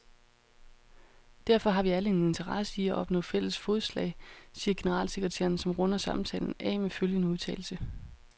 Derfor har vi alle en interesse i at opnå fælles fodslag, siger generalsekretæren, som runder samtalen af med følgende udtalelse.